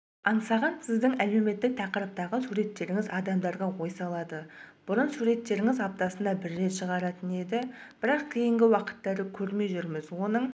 аңсаған сіздің әлеуметтік тақырыптағы суреттеріңіз адамдарға ой салады бұрын суреттеріңіз аптасына бір рет шығатын еді бірақ кейінгі уақыттары көрмей жүрміз оның